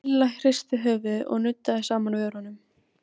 Milla hristi höfuðið og nuddaði saman vörunum.